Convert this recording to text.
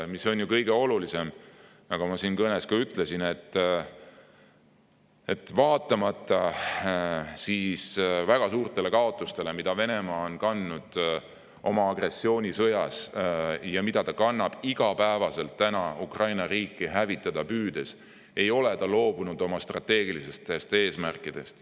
Kõige olulisem on, nagu ma oma kõneski ütlesin, et vaatamata väga suurtele kaotustele, mida Venemaa on kandnud oma agressioonisõjas ja mida ta kannab iga päev Ukraina riiki hävitada püüdes, ei ole Venemaa loobunud oma strateegilistest eesmärkidest.